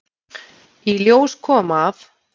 Í ljós kom, að